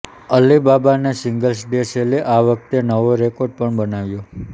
અલીબાબાના singles day સેલે આ વખતે નવો રેકોર્ડ પણ બનાવ્યો